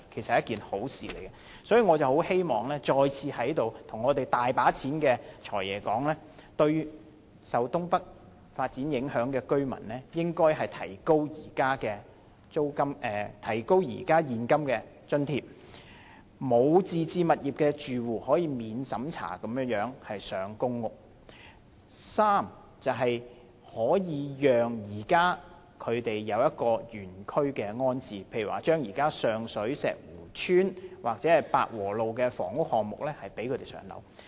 所以，我再次在這裏跟掌管着巨額公帑的"財爺"說：第一、對於受東北發展影響的居民，提高他們可獲的現金津貼額；第二、對於沒有自置物業的住戶，容許他們免審查獲分配公屋：第三、將居民原區安置，例如上水寶石湖邨，或者百和路的房屋項目。